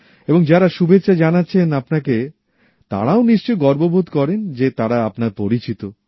এবং যারা শুভেচ্ছা জানাচ্ছেন আপনাকে তারাও নিশ্চই গর্ববোধ করেন যে তারা আপনার পরিচিত